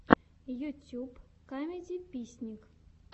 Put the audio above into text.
ютьюб камедиписник